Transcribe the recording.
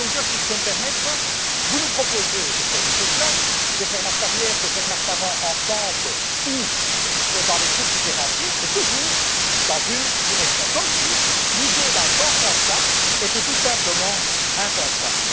Monsieur Juncker, si je peux me permettre, vous nous proposez de faire du surplace, de faire marche arrière, de faire marche avant ensemble ou dans des groupes différenciés, mais toujours dans une direction, comme si l'idée d'un changement de cap était tout simplement impensable.